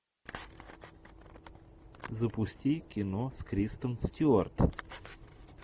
запусти кино с кристен стюарт